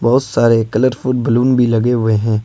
बहुत सारे colourful balloon भी लगे हुए हैं।